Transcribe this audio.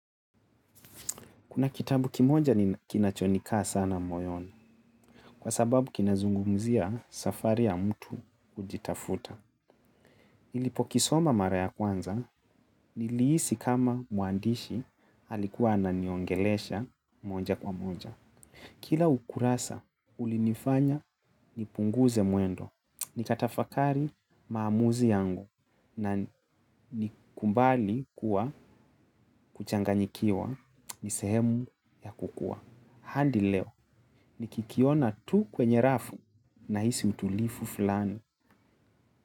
Kuna kitabu kimoja kinachonika sana moyoni, kwa sababu kinazungumzia safari ya mtu hujitafuta. Nilipo kisoma mara ya kwanza, nilihisi kama muandishi alikuwa ananiongelesha moja kwa moja. Kila ukurasa ulinifanya nipunguze mwendo, nitatafakari maamuzi yangu na ni kubali kuwa kuchanganyikiwa nisehemu ya kukua. Hadi leo nikikiona tu kwenye rafu nahisi utulivu flani.